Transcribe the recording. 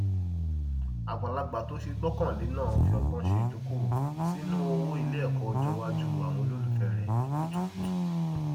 agbàlagbà tó ṣe gbọkànlé náà fi ọgbọn ṣe idókòwò sínú owó iléẹkọ ọjọ iwájú àwọn olólùfẹ rẹ ní kutukùtù